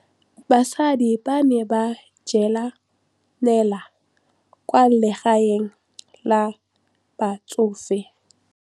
Basadi ba ne ba jela nala kwaa legaeng la batsofe.